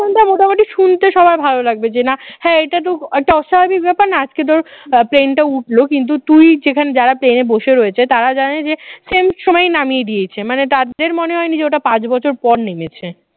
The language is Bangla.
মোটামুটি শুনতে সবার ভালো লাগবে যে না হ্যাঁ এটা তো একটা অস্বাভাবিক ব্যাপার না আজকে ধর plane টা উঠলো কিন্তু তুই যেখানে যারা plane এ বসে রয়েছে তারা জানে যে same সময় নামিয়ে দিয়েছে মানে তাদের মনে হয়নি যে ওটা পাঁচ বছর পরে নেমেছে